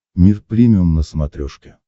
мир премиум на смотрешке